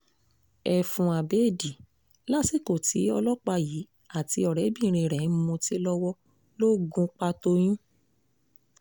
ẹfun abẹ́ẹ̀dì lásìkò tí ọlọ́pàá yìí àti ọ̀rẹ́bìnrin rẹ̀ ń mutí lọ́wọ́ ló gún un pa toyún